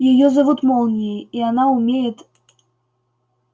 её зовут молнией и она умеет